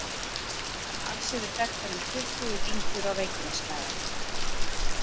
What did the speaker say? Alls eru þekktar um tuttugu dyngjur á Reykjanesskaga.